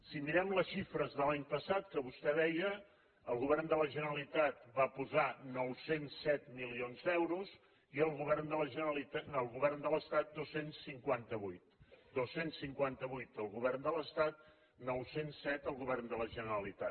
si mirem les xifres de l’any passat que vostè deia el govern de la generalitat va posar nou cents i set milions d’euros i el govern de l’estat dos cents i cinquanta vuit dos cents i cinquanta vuit el govern de l’estat nou cents i set el govern de la generalitat